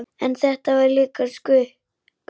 En þetta var líka sukk.